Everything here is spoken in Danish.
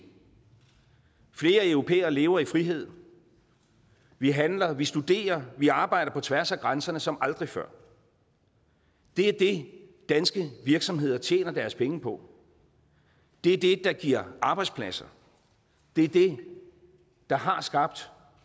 flere europæere lever i frihed vi handler vi studerer vi arbejder på tværs af grænserne som aldrig før det er det danske virksomheder tjener deres penge på det er det der giver arbejdspladser det er det der har skabt